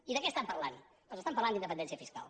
i de què estan parlant doncs estan parlant d’independència fiscal